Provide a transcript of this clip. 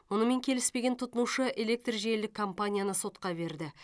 мұнымен келіспеген тұтынушы электржелілік компанияны сотқа берді